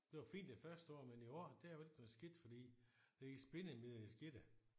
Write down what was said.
Det var fint det første år men i år der var lidt noget skidt fordi der gik spindemide i skidtet